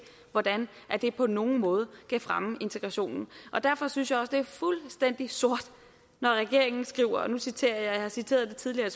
hvordan det på nogen måde kan fremme integrationen og derfor synes jeg også det er fuldstændig sort når regeringen skriver nu citerer jeg har citeret det tidligere